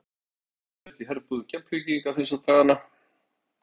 Það er ýmislegt að gerast í herbúðum Keflvíkinga þessa dagana.